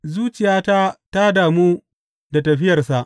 Zuciyata ta damu da tafiyarsa.